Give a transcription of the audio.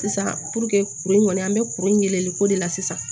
Sisan kuru in kɔni an bɛ kuru in weleli ko de la sisan